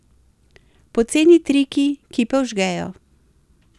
Poceni triki, ki pa vžgejo.